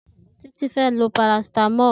Titi fè ló pàrásitámọ̀l